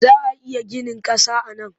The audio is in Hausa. Za a iya ginin ƙasa a nan?